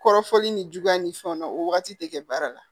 Kɔrɔfɔli ni juguya ni fɛnw na o wagati tɛ kɛ baara la